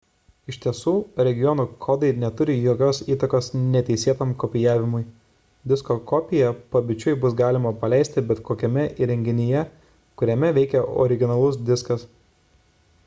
iš tiesų regionų kodai neturi jokios įtakos neteisėtam kopijavimui disko kopiją pabičiui bus galima paleisti bet kokiame įrenginyje kuriame veikia originalus diskas